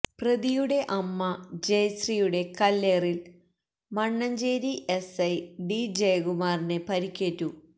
പ്രതിയുടെ അമ്മ ജയശ്രിയുടെ കല്ലേറില് മണ്ണഞ്ചേരി എസ്ഐ ഡി ജയകുമാറിന് പരുക്കേറ്റു